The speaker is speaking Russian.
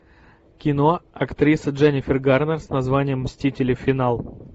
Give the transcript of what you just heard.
кино актриса дженнифер гарнер с названием мстители финал